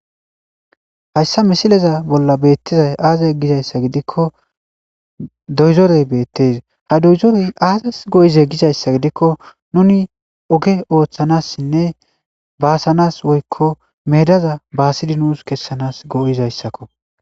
Hayssa missileza bolla beetiza aaze gizayssa gidiko doyzorey beettees ha doyzorey aazas go'izee gizayssa gidiko nuni oge ooththanaasinne baasanaas woykko meedaza baassidi nuusi kessanaas go'izayssako.